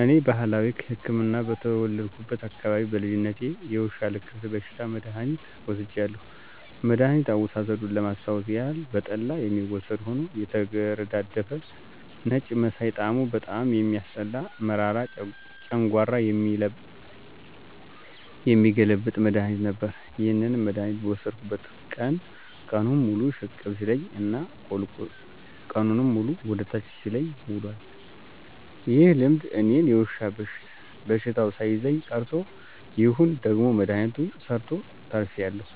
እኔ ባህላዊ ህክምና በተወለድኩበት አካባቢ በልጅነቴ የውሻ ልክፍት በሽታ መድሐኒት ወስጃለሁ። መድኋኒት አወሳሰዱን ለማስታወስ ያክል በጠላ የሚወሰድ ሆኖ የተገረዳደፈ ነጭ መሳይ ጣሙ በጣም የሚያስጠላ መራራ ጨንጓራ የሚገለብጥ መድሐኒት ነበር። ይህንን መድሐኒት በወሰድኩበት ቀን ቀኑን ሙሉ ሽቅብ ሲለኝ እና ቀኑንን ሙሉ ወደ ታች ሲለኝ ውሏል። ይህ ልምድ እኔን የዉሻ በሽተው ሳይዘኝ ቀርቶ ይሁን ወይም ደግሞ መድሐኒቱ ሰርቶ ተርፌአለሁ።